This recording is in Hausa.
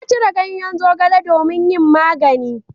Ya ciro ganyen zogale domin yin magani.